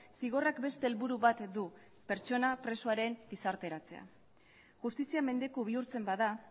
zigorrak beste helburu bat du pertsona presoaren gizarteratzea justizia mendeku bihurtzen bada